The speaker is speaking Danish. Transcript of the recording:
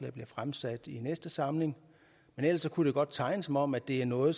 bliver fremsat i næste samling men ellers kunne det godt tegne som om at det er noget